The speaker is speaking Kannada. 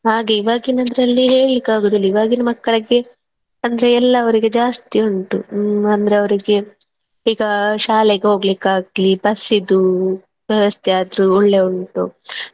ಹಾಗೆ ಇವಾಗಿನದ್ರಲ್ಲೇ ಹೇಳ್ಳಿಕ್ಕೆ ಆಗುವುದಿಲ್ಲ ಇವಾಗಿನ ಮಕ್ಕಳಿಗೆ ಅಂದ್ರೆ ಎಲ್ಲಾ ಅವರಿಗೆ ಜಾಸ್ತಿ ಉಂಟು ಹ್ಮ್ ಅಂದ್ರೆ ಅವರಿಗೆ ಬೇಗ ಶಾಲೆಗೆ ಹೊಗ್ಲಿಕ್ಕಾಗ್ಲಿ ಬಸ್ಸಿದ್ದು ವ್ಯವಸ್ಥೆ ಆದ್ರೂ ಒಳ್ಳೆ ಉಂಟು.